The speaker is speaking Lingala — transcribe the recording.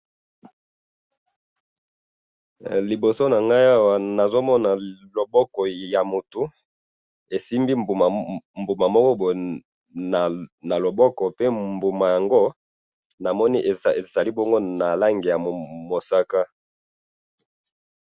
Liboso na ngai Awa nazomona loboko ya motu esimbi mbuma Moko boye na loboko pe mbuma yango namoni ezali bongo na Langi ya mosaka